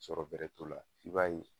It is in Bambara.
Sɔrɔ bɛrɛ t'o la i b'a ye